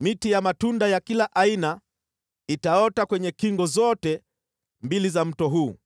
Miti ya matunda ya kila aina itaota kwenye kingo zote mbili za mto huu.